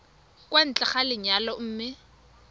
kwa ntle ga lenyalo mme